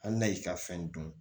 Hali na y'i ka fɛn dun